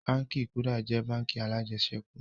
Báńkì "Kuda" jẹ́ báńkì alajẹsẹ́kù